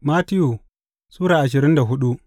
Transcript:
Mattiyu Sura ashirin da hudu